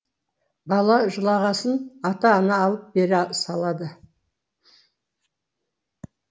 бала жылағасын ата ана алып бере салады